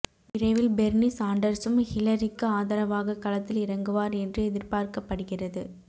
விரைவில் பெர்னி சான்டர்ஸும் ஹிலரிக்கு ஆதரவாக களத்தில் இறங்குவார் என்றும் எதிர்பார்க்கப்படுகிறது